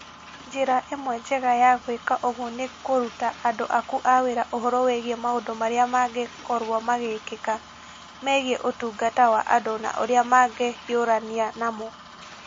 Njĩra ĩmwe njega ya gwĩka ũguo nĩ kũruta andũ aku a wĩra ũhoro wĩgiĩ maũndũ marĩa mangĩkorũo magĩkĩka, megiĩ ũtungata wa andũ na ũrĩa mangĩhiũrania namo.